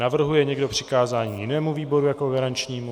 Navrhuje někdo přikázání jinému výboru jako garančnímu?